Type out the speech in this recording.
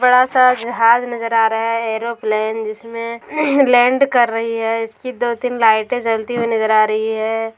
बड़ा सा जहाज नजर आ रहा है एयरोप्लेन जिसमें लैंड कर रही है इसकी दो-तीन लाइटें जलती हुई नजर आ रही है।